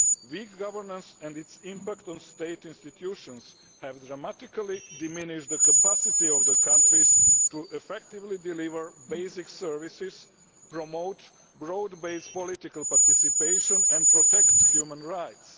Weak governance and its impact on state institutions have dramatically diminished the capacity of the countries to effectively deliver basic services, promote broad based political participation and protect human rights.